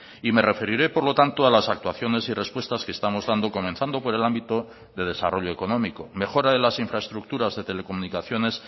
y me referiré por lo tanto a las actuaciones y respuestas que estamos dando comenzando por el ámbito de desarrollo económico mejora de las infraestructuras de telecomunicaciones